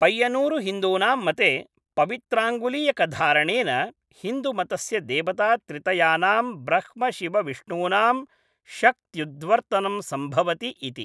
पय्यन्नूरुहिन्दूनां मते पवित्राङ्गुलीयकधारणेन हिन्दुमतस्य देवतात्रितयानां ब्रह्मशिवविष्णूनां शक्त्युद्वर्तनं सम्भवति इति।